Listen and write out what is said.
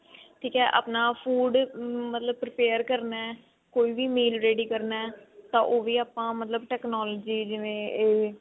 ਠੀਕ ਹੈ ਆਪਣਾ food ਮਤਲਬ prepare ਕਰਨਾ ਕੋਈ ਵੀ meal ready ਕਰਨਾ ਤਾਂ ਉਹ ਵੀ ਮਤਲਬ ਆਪਾਂ technology ਜਿਵੇਂ ਇਹ